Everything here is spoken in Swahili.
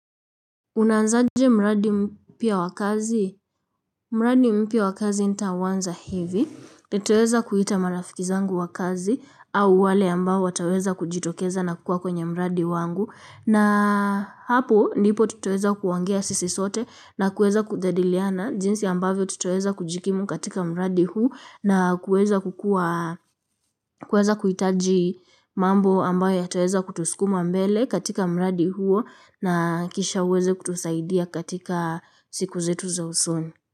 Unaanzaje mradi mpya wa kazi? Mradi mpya wa kazi nitauanza hivi. Nitaweza kuita marafiki zangu wa kazi au wale ambao wataweza kujitokeza na kukua kwenye mradi wangu. Na hapo ndipo tutaweza kuongea sisi sote na kuweza kujadiliana. Jinsi ambavyo tutaweza kujikimu katika mradi huu na kuweza kuhitaji mambo ambayo yataweza kutuskuma mbele katika mradi huo. Na kisha uweze kutusaidia katika siku zetu za usoni.